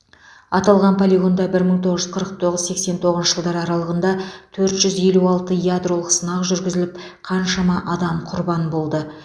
аталған полигонда бір мың тоғыз жүз қырық тоғыз сексен тоғызыншы жылдар аралығында төрт жүз елу алты ядролық сынақ жүргізіліп қаншама адам құрбан болды